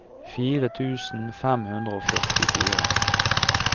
fire tusen fem hundre og førtifire